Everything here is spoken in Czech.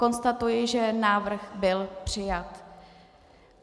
Konstatuji, že návrh byl přijat.